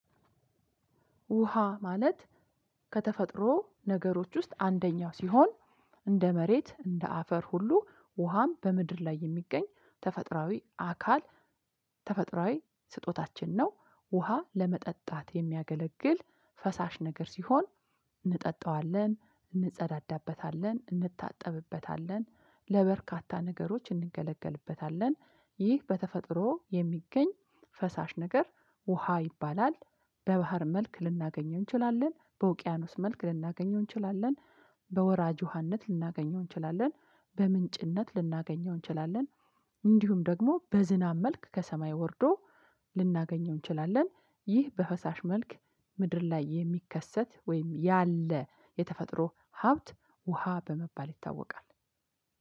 ውሃ ማለት ከተፈጥሮ ነገሮች ውስጥ አንደኛው ሲሆን እንደ መሬት እንደ አፈር ሁሉ ውሃም በምድር ላይ የሚገኝ ተፈጥራዊ አካል ተፈጥሯዊ ስጦታችን ነው። ውሃ ለመጠጣት የሚያገለግል ፈሳሽ ነገር ሲሆን እንጠጣዋለን እንጸዳዳበታለን እንታጠብበታለን ለበርካታ ነገሮች እንገለገልበታለን ይህ በተፈጥሮ የሚገኝ ፈሳሽ ነገር ውሃ ይባላል። በባህር መልክ ልናገኘው እንችላለን በውቅያኖስ መልክ ልናገኘው እንችላለን በወራጅ ውሃነት ልናገኘው እንችላለን በምንጭነት ልናገኘው እንችላለን እንዲሁም ደግሞ በዝናብ መልክ ከሰማይ ወርዶ ልናገኘው እንችላለን። ይህ በፈሳሽ መልክ ምድር ላይ የሚከሰት ወይም ያለ የተፈጥሮ ሀብት ውሃ በመባል ይታወቃል።